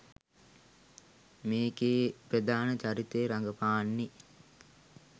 මේකේ ප්‍රධාන චරිතය රඟපාන්නේ